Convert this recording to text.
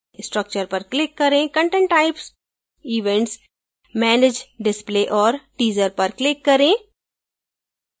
structure पर click करें content types events manage display और teaser पर click करें